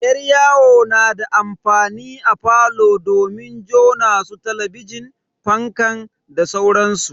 Yar yawo na da amfani a falo domin jona su talabijin, fankan da sauransu.